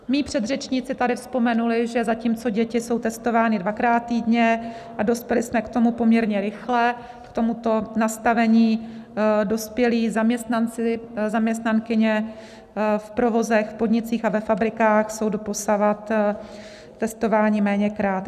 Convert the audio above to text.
Mí předřečníci tady vzpomenuli, že zatímco děti jsou testovány dvakrát týdně, a dospěli jsme k tomu poměrně rychle, k tomuto nastavení, dospělí zaměstnanci, zaměstnankyně v provozech, v podnicích a ve fabrikách jsou doposavad testováni méněkrát.